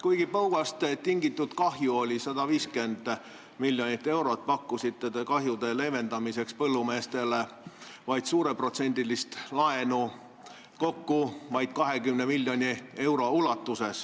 Kuigi põuast tingitud kahju oli 150 miljonit eurot, pakkusite te kahjude leevendamiseks põllumeestele vaid suureprotsendilist laenu, kokku ainult 20 miljonit eurot.